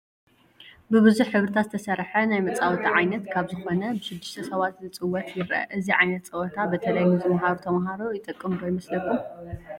ብቡዙሕ ሕብርታት ዝተሰርሐ ናይ መፃወቲ ዓይነት ካብ ዝኾነ ብ6 ሰባት ክፅወት ይረአ፡፡ እዚ ዓይነት ፀወታ በተለይ ንዝማሃሩ ተምሃሮ ይጠቅም ዶ ይመስለኩም?